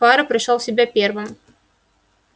фара пришёл в себя первым